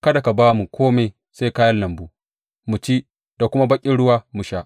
Kada ka ba mu kome sai kayan lambu mu ci da kuma baƙin ruwa mu sha.